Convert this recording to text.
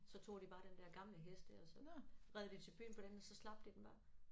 Så tog de bare den der gamle hest der og så red de til byen på den og så slap de den bare